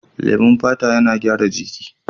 Lemon fata yana gyara ciki.